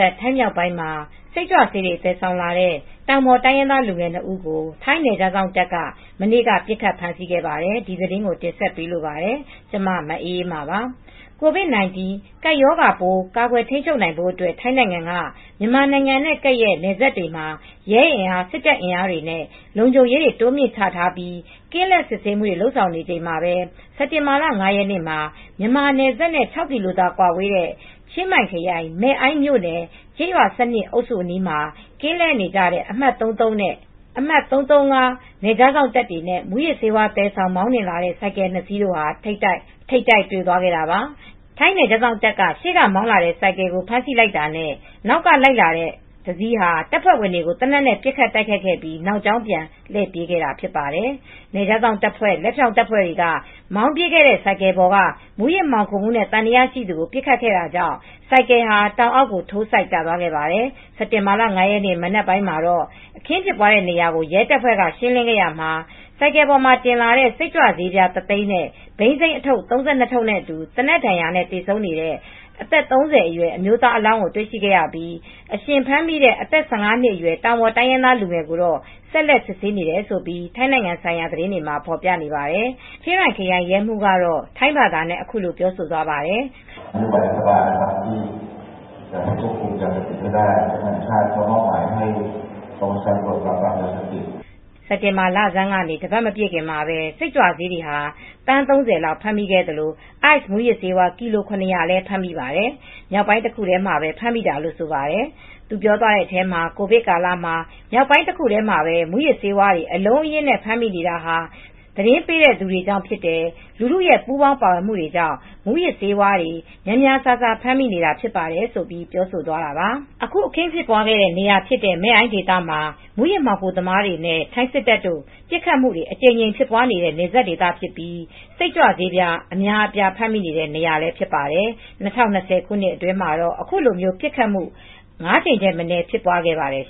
ပ် ထိုင်းမြောက်ပိုင်းမှာ စိတ်ကြွဆေးတွေ သယ်ဆောင်လာတဲ့ တောင်ပေါ်တိုင်းရင်းသား လူငယ်နှစ်ဦးကို ထိုင်းနယ်ခြားစောင့်တပ်က မနေ့က ပစ်ခတ်ဖမ်းဆီးခဲ့ပါတယ်။ အပြည့်အစုံကို ထိုင်းအခြေစိုက် ဗွီအိုအေ မြန်မာပိုင်း သတင်းထောက် မအေးအေးမာ တင်ပြပေးထားပါတယ်။ COVID-19 ရောဂါပိုးဆိုင်ရာ ကာကွယ်ထိန်းချုပ်နိုင်ဖို့အတွက် ထိုင်းနိုင်ငံက မြန်မာနိုင်ငံနဲ့ကပ်လျက် နယ်စပ်တွေမှာ ရဲအင်အား၊ စစ်တပ်အင်အားတွေနဲ့ လုံခြုံရေး တိုးမြှင့်ချထားပြီး ကင်းလှည့်စစ်ဆေးမှုတွေ လုပ်ဆောင်နေတဲ့ အချိန်မှာပဲ စက်တင်ဘာ ၅ ရက်နေ့မှာ မြန်မာနယ်စပ်နဲ့ ခြောက်ကီလိုသာကွာဝေးတဲ့ ချင်းမိုင်ခရိုင် မယ်အိုင့်မြို့နယ် ကျေးရွာအမှတ် ၁၂ အုပ်စုအနီး ကင်းလှည့်နေကြတဲ့ အမှတ် ၃၃ နဲ့ ၃၃၅ နယ်ခြားစောင့်တပ်တွေနဲ့ မူးယစ်ဆေး သယ်ဆောင်မောင်းနှင်လာတဲ့ ဆိုင်ကယ်နှစ်စီး ထိပ်တိုက်တွေ့သွားခဲ့တာပါ။ ထိုင်းနယ်ခြားစောင့်တပ်က ရှေ့ကမောင်းလာတဲ့ ဆိုင်ကယ်ကို ဖမ်းဆီးလိုက်တာနဲ့ နောက်ကလိုက်လာတဲ့ တစီးဟာ တပ်ဖွဲ့ဝင်တွေကို သေနတ်နဲ့ ပစ်ခတ်တိုက်ခိုက်ခဲ့ပြီး နောက်ကြောင်းပြန်လှည့် ပြေးခဲ့တာပါ။ နယ်ခြားစောင့်တပ်ဖွဲ့ လက်ဖြောင့်တပ်ဖွဲ့ဝင်တွေက မောင်းပြေးတဲ့ ဆိုင်ကယ်ပေါ်က မူးယစ်မှောင်ခိုမှုနဲ့ သံသယရှိသူကို ပစ်ခတ်ခဲ့တာကြောင့် ဆိုင်ကယ်ဟာ တောင်အောက်ကို ထိုးစိုက်ကျသွားခဲ့ပါတယ်။ စက်တင်ဘာ ၅ ရက်နေ့ မနက်ပိုင်း အခင်းဖြစ်ပွားခဲ့တဲ့ နေရာကို ရဲတပ်ဖွဲ့က ရှင်းလင်းရာမှာတော့ ဆိုင်ကယ်ပေါ်မှာတင်လာတဲ့ ရာဘ စိတ်ကြွဆေး ၁၀၀,၀၀၀ နဲ့ ဘိန်းစိမ်းအထုပ်ငယ် ၃၂ ထုပ်နဲ့အတူ သေနတ်ဒဏ်ရာနဲ့ သေဆုံးတဲ့ အသက် ၃၀ အရွယ် အမျိုးသားအလောင်းကို တွေ့ခဲ့ပြီး အရှင်ဖမ်းမိတဲ့ အသက် ၁၅ နှစ်အရွယ် တောင်ပေါ်တိုင်းရင်းသားလူငယ်ကို ဆက်လက်စစ်ဆေးနေတယ်လို့ ထိုင်းနိုင်ငံဆိုင်ရာ သတင်းတွေမှာ ဖော်ပြနေပါတယ်။ ချင်းရိုင်ခရိုင် ရဲမှူးကတော့ ထိုင်းဘာသာနဲ့ အခုလိုပြောသွားပါတယ်။ “စက်တင်ဘာလဆန်းကနေ တပတ်မပြည့်ခင်မှာပဲ စိတ်ကြွဆေးက သန်း ၃၀၊ အိုက်စ်မူးယစ်ဆေး ကီလို ၇၀၀ မိတယ်။ မြောက်ပိုင်းတခုတည်းမှာပဲ မိတာဖြစ်တယ်။ ကိုဗစ်ကာလမှာ မြောက်ပိုင်းတခုတည်းမှာပဲ မူးယစ်ဆေးဝါးတွေ အလုံးအရင်းနဲ့ ဖမ်းမိနေတာကတော့ သတင်းပေးတဲ့ သူတွေကြောင့်ဖြစ်တယ်၊ လူထုရဲ့ ပူးပေါင်းပါဝင်မှုတွေကြောင့် မူးယစ်ဆေးဝါးတွေ များများစားစား မိနေတာဖြစ်တယ်” ဆိုပြီး ပြောသွားတာပါ။ အခု အခင်းဖြစ်ပွားခဲ့တဲ့ နေရာဖြစ်တဲ့ မယ်အိုင့်ဒေသမှာ မူးယစ်မှောင်ခိုသမားတွေနဲ့ ထိုင်းစစ်တပ် ပစ်ခတ်မှုတွေ အကြိမ်ကြိမ်ဖြစ်ပွားနေတဲ့ နယ်စပ်ဒေသဖြစ်ပြီး စိတ်ကြွဆေး အမြောက်အမြားကို ဖမ်းမိနေတဲ့နေရာ ဖြစ်ပါတယ်။ ၂၀၂၀ ခုနှစ်အတွင်းမှာ အခုလိုပစ်ခတ်မှု ငါးကြိမ်ထက်မနည်း ဖြစ်ပွားခဲ့ပါတယ်